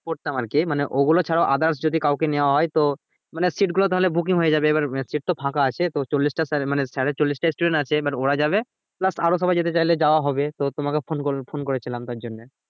পড়তাম আর কি মানে ওগুলো ছাড়াও others যদি কাউকে নেওয়া হয়ে তো মানে seat গুলো তাহলে booking হয়ে যাবে এবার seat তো ফাঁকা আছে তো চল্লিশটা sir মানে sir এর চল্লিশটা student আছে এবার ওরা যাবে plus আরো সবাই যেতে চাইলে যাওয়া হবে তো তোমাকে phone কর~ phone করেছিলাম তার জন্য